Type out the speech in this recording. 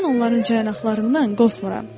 Mən onların caynaqlarından qorxmuram.